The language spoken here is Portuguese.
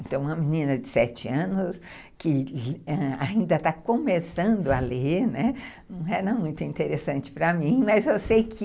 Então, uma menina de sete anos que ainda está começando a ler, né, não era muito interessante para mim, mas eu sei que...